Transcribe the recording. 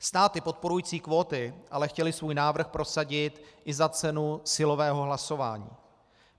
Státy podporující kvóty ale chtěly svůj návrh prosadit i za cenu silového hlasování.